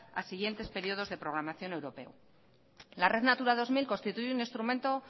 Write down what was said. a siguientes periodos de programación europea la red natura dos mil constituye un instrumento